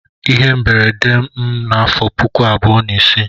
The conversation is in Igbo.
Ihe mberede mere m n'afọ puku abụọ na isii.